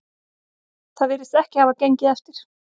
Það virðist ekki hafa gengið eftir